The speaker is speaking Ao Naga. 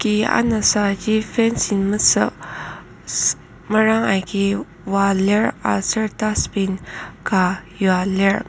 ki anasaji fencing mesük meranga agi oa lir aser dustbin ka yua lir.